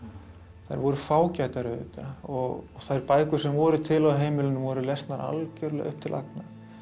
þær voru fágætar auðvitað og þær bækur sem voru til á heimilinu voru lesnar algjörlega upp til agna